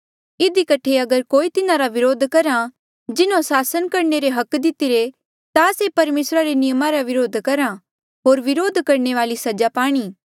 इधी कठे अगर कोई तिन्हारा विरोध करहा जिन्हों सासन करणे रे अधिकार दितिरे ता से परमेसरा रे नियमा रा विरोध करहा होर विरोध करणे वाले सजा पाणी